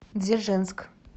дзержинск